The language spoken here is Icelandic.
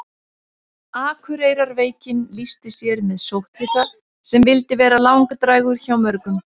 akureyrarveikin lýsti sér með sótthita sem vildi vera langdrægur hjá mörgum